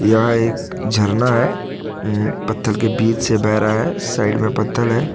यह एक झरना है अह पत्थर के बीच से बह रहा है साइड में पत्थर है।